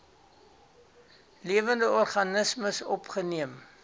lewende organismes opgeneem